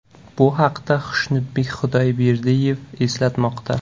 Bu haqda Xushnudbek Xudoyberdiyev eslatmoqda .